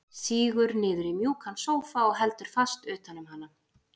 Sígur niður í mjúkan sófa og heldur fast utan um hana.